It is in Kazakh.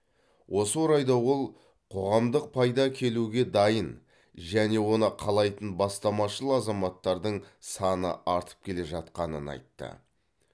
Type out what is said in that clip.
осы орайда ол қоғамдық пайда әкелуге дайын және оны қалайтын бастамашыл азаматтардың саны артып келе жатқанын айтты